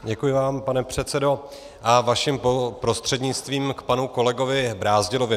Děkuji vám, pane předsedo, a vaším prostřednictvím k panu kolegovi Brázdilovi.